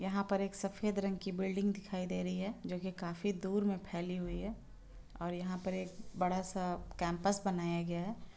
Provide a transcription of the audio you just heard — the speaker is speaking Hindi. यहाँ पर एक सफ़ेद रंग की बिल्डिंग दिखाई दे रही है जोकि काफी दूर में फैली है और यहाँ पर एक बड़ा सा कैंपस बनाया गया है।